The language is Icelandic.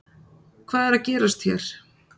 Hvað er að gerast hér